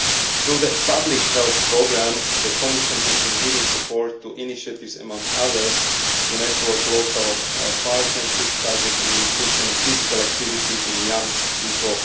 Through the Public Health Programme, the Commission has been giving support to initiatives, among others, to network local partnerships targeting nutrition and physical activity in young people.